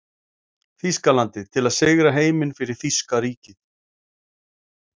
Þýskalandi til að sigra heiminn fyrir þýska ríkið.